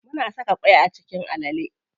Muna saka ƙwai a cikin alale.